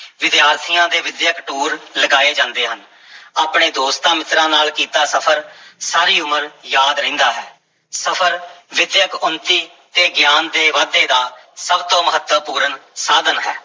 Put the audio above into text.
ਵਿਦਿਆਰਥੀਆਂ ਦੇ ਵਿੱਦਿਅਕ ਟੂਰ ਲਗਾਏ ਜਾਂਦੇ ਹਨ ਆਪਣੇ ਦੋਸਤਾਂ-ਮਿੱਤਰਾਂ ਨਾਲ ਕੀਤਾ ਸਫ਼ਰ ਸਾਰੀ ਉਮਰ ਯਾਦ ਰਹਿੰਦਾ ਹੈ, ਸਫ਼ਰ ਵਿੱਦਿਅਕ ਉੱਨਤੀ ਤੇ ਗਿਆਨ ਦੇ ਵਾਧੇ ਦਾ ਸਭ ਤੋਂ ਮਹੱਤਵਪੂਰਨ ਸਾਧਨ ਹੈ।